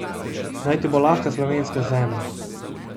Naj ti bo lahka slovenska zemlja.